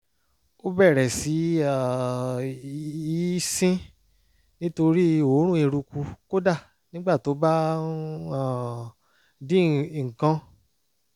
ó bẹ̀rẹ̀ sí um í sín nítorí òórùn eruku kódà nígbà tó bá ń um dín nǹkan